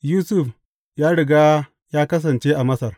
Yusuf ya riga ya kasance a Masar.